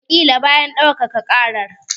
Wataƙila bayan ɗaukaka ƙarar.